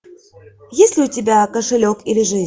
есть ли у тебя кошелек или жизнь